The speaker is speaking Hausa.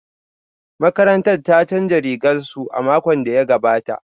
Makarantar ta canza rigar su a makon da ya gabata